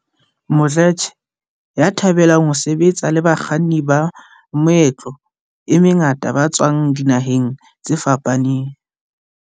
Mdletshe, ya thabelang ho sebetsa le bakganni ba meetlo e mengata ba tswang dinaheng tse fapaneng.